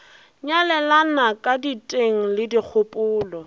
nyalelana ka diteng le dikgopolo